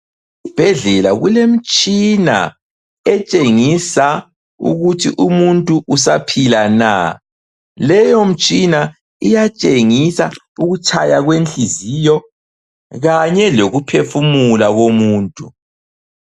Esibhedlela kulemitshina etshengisa ukuthi umuntu usaphila na. Leyo mtshina iyatshengisa ukutshaya kwenhliziyokanye lokuphefumula lomuntu.